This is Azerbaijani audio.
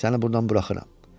Səni buradan buraxıram.